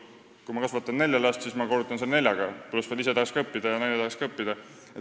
Kui ma kasvatan nelja last, siis ma korrutan selle neljaga, pluss tahaks ise õppida ja ka naine tahaks õppida.